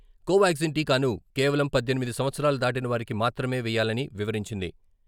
కోవాగ్జిన్ టీకాను కేవలం పద్దెనిమిది సంవత్సరాలు దాటిన వారికి మాత్రమే వేయాలని వివరించింది.